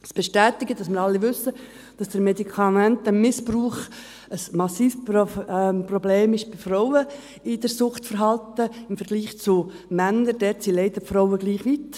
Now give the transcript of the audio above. Dies bestätigt, dass wir alle wissen, dass der Medikamentenmissbrauch im Suchtverhalten bei Frauen ein massives Problem im Vergleich zu Männern ist: Dort sind die Frauen leider gleich weit.